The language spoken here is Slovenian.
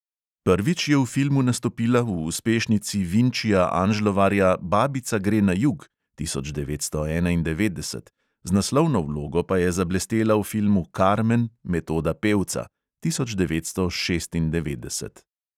Prvič je v filmu nastopila v uspešnici vinčija anžlovarja "babica gre na jug" (tisoč devetsto enaindevetdeset), z naslovno vlogo pa je zablestela v filmu "karmen" metoda pevca (tisoč devetsto šestindevetdeset).